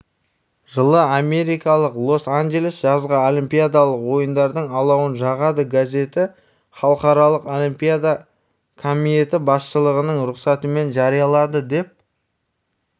жылы америкалық лос-анджелес жазғы олимпиадалық ойындардың алауын жағады газеті халықаралық олимпиада комиеті басшылығының рұқсатымен жариялады деп